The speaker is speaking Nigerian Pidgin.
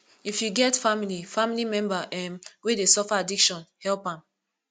if you get family family member um wey dey suffer addiction help am